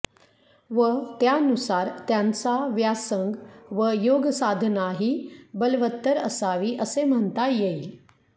व त्यानुसार त्यांचा व्यासंग व योगसाधनाही बलवत्तर असावी असे म्हणता येईल